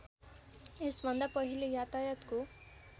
यसभन्दा पहिले यातायातको